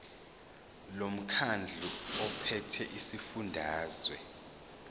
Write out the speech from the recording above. lomkhandlu ophethe esifundazweni